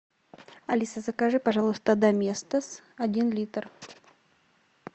алиса закажи пожалуйста доместос один литр